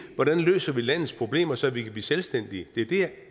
hvordan vi løser landets problemer så vi kan blive selvstændige det er der